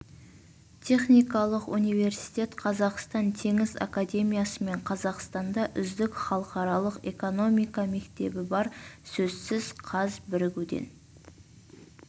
техникалық университет қазақстан теңіз академиясы мен қазақстанда үздік халықаралық экономика мектебі бар сөзсіз қаз бірігуден